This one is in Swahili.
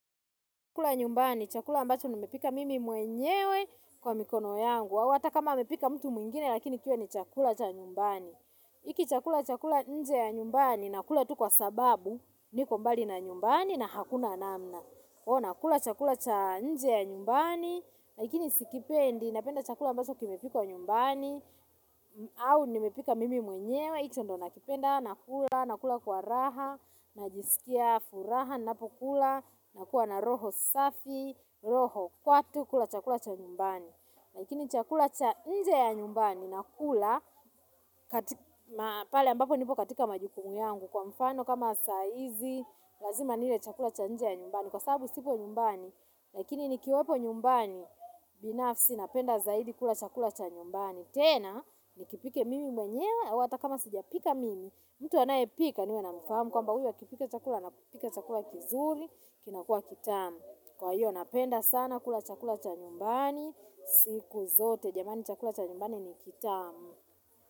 Chakula nyumbani, chakula ambacho nimepika mimi mwenyewe kwa mikono yangu. Hata kama amepika mtu mwingine lakini pia ni chakula cha nyumbani. Iki chakula chakula nje ya nyumbani, nakula tu kwa sababu, niko mbali na nyumbani na hakuna namna. O, nakula chakula cha nje ya nyumbani, lakini sikipendi, napenda chakula ambacho kimepikwa nyumbani, au nimepika mimi mwenyewe, icho ndo nakipenda, nakula, nakula kwa raha, najisikia furaha napokula nakuwa na roho safi roho kwatu kula chakula cha nyumbani lakini chakula cha nje ya nyumbani na kula pale ambapo nipo katika majukumu yangu kwa mfano kama saa izi lazima nile chakula cha nje ya nyumbani kwa sababu sipo nyumbani lakini nikiwepo nyumbani binafsi napenda zaidi kula chakula cha nyumbani tena nikipike mimi mwenyewe au ata kama sijapika mimi. Mtu anayepika niwe namfahamu kwamba huyu akipika chakula anapika chakula kizuri, kinakua kitamu. Kwa hiyo napenda sana kula chakula cha nyumbani, siku zote, jamani chakula cha nyumbani ni kitamu.